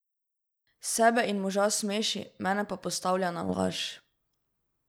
Sebe in moža smeši, mene pa postavlja na laž.